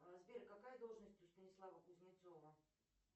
сбер какая должность у станислава кузнецова